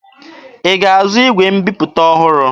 Ị ga-azụ igwe mbiputa ọhụrụ!